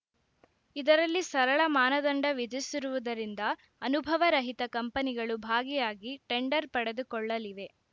ಇದರಲ್ಲಿ ಸರಳ ಮಾನದಂಡ ವಿಧಿಸಿರುವುದರಿಂದ ಅನುಭವ ರಹಿತ ಕಂಪನಿಗಳು ಭಾಗಿಯಾಗಿ ಟೆಂಡರ್‌ ಪಡೆದುಕೊಳ್ಳಲಿವೆ